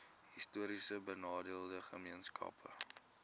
histories benadeelde gemeenskappe